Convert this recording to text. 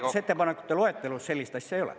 Muudatusettepanekute loetelus sellist asja ei ole.